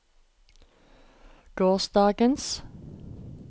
gårsdagens